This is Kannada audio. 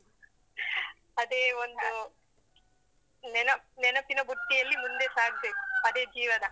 ಅದೇ ಒಂದು ನೆನ~ ನೆನಪಿನ ಬುಟ್ಟಿಯಲ್ಲಿ ಮುಂದೆ ಸಾಗ್ಬೇಕು, ಅದೇ ಜೀವನ